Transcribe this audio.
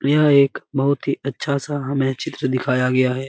यह एक बहुत ही अच्छा सा हमे चित्र दिखाया गया है|